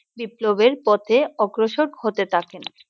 বিপ্লবের পথে অগ্রসর হতে থাকেন!